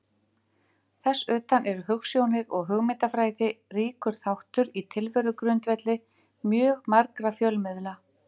Þess utan eru hugsjónir og hugmyndafræði ríkur þáttur í tilverugrundvelli mjög margra fjölmiðla.